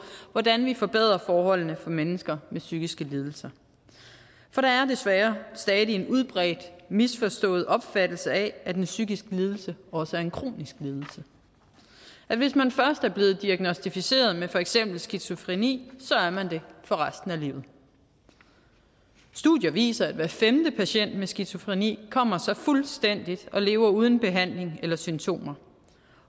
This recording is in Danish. hvordan vi forbedrer forholdene for mennesker med psykiske lidelser for der er desværre stadig en udbredt misforstået opfattelse af at en psykisk lidelse også er en kronisk lidelse hvis man først er blevet diagnosticeret med for eksempel skizofreni er man det for resten af livet studier viser at hver femte patient med skizofreni kommer sig fuldstændig og lever uden behandling og symptomer